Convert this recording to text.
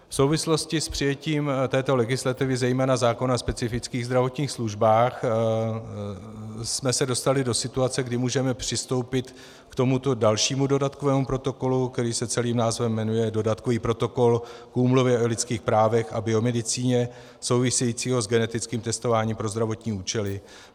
V souvislosti s přijetím této legislativy, zejména zákona o specifických zdravotních službách, jsme se dostali do situace, kdy můžeme přistoupit k tomuto dalšímu dodatkovému protokolu, který se celým názvem jmenuje Dodatkový protokol k Úmluvě o lidských právech a biomedicíně související s genetickým testováním pro zdravotní účely.